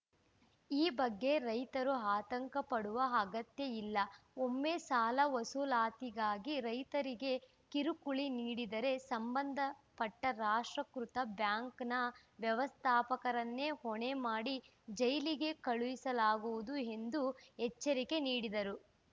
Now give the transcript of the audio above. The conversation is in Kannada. ಈ ಬಗ್ಗೆ ರೈತರು ಆತಂಕ ಪಡುವ ಅಗತ್ಯ ಇಲ್ಲ ಒಮ್ಮೆ ಸಾಲ ವಸೂಲಾತಿಗಾಗಿ ರೈತರಿಗೆ ಕಿರುಕುಳ ನೀಡಿದರೆ ಸಂಬಂಧಪಟ್ಟ ರಾಷ್ಟ್ರೀಕೃತ ಬ್ಯಾಂಕ್‌ನ ವ್ಯವಸ್ಥಾಪಕರನ್ನೇ ಹೊಣೆ ಮಾಡಿ ಜೈಲಿಗೆ ಕಳುಹಿಸಲಾಗುವುದು ಎಂದು ಎಚ್ಚರಿಕೆ ನೀಡಿದರು